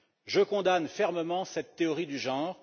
Je condamne fermement cette théorie du genre.